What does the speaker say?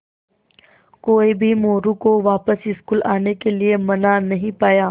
कोई भी मोरू को वापस स्कूल आने के लिये मना नहीं पाया